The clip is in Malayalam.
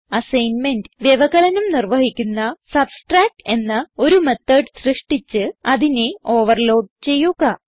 അസൈൻമെന്റ് വ്യവകലനം നിർവഹിക്കുന്ന സബ്സ്ട്രാക്ട് എന്ന ഒരു മെത്തോട് സൃഷ്ടിച്ച് അതിനെ ഓവർലോഡ് ചെയ്യുക